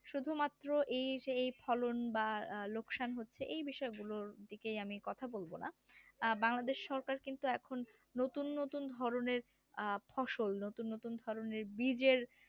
শুধুমাত্র এই এই ফলন বা লোকসান হচ্ছে এ বিষয়ে গুলোতেই আমি কথা বলব না বাংলাদেশ সরকার কিন্তু এখন নতুন নতুন ধরনের অ্যাঁ নতুন ফসল নতুন নতুন ধরনের বীজের